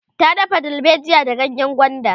ta dafa dalbejiya da ganyengwanda